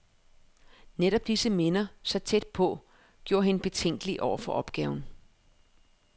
Netop disse minder, så tæt på, gjorde hende betænkelig over for opgaven.